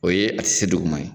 O ye a ti se duguma ye